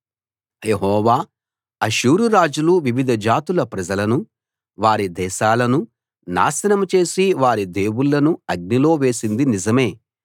యెహోవా అష్షూరు రాజులు వివిధ జాతుల ప్రజలనూ వారి దేశాలనూ నాశనం చేసి వారి దేవుళ్ళను అగ్నిలో వేసింది నిజమే